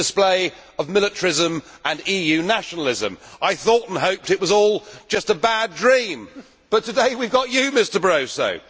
it was the display of militarism and EU nationalism. I thought and hoped it was all just a bad dream, but today we have got you, Mr Barroso.